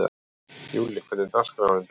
Júlli, hvernig er dagskráin í dag?